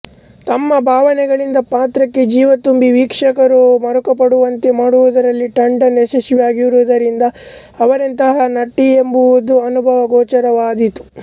ತಮ್ಮ ಭಾವನೆಗಳಿಂದ ಪಾತ್ರಕ್ಕೆ ಜೀವತುಂಬಿ ವೀಕ್ಷಕರೂ ಮರುಕಪಡುವಂತೆ ಮಾಡುವುದರಲ್ಲಿ ಟಂಡನ್ ಯಶಸ್ವಿಯಾಗಿರುವುದರಿಂದ ಅವರೆಂತಹ ನಟಿಯೆಂಬುದು ಅನುಭವಗೋಚರವಾದೀತು